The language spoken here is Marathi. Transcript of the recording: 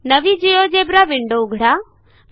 नवी जिओजेब्रा विंडो उघडा